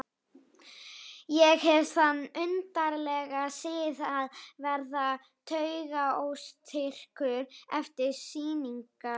Ég hef þann undarlega sið að verða taugaóstyrkur eftir sýningar.